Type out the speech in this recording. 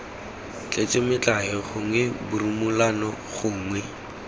tletse metlae gongwe borumolano gongwe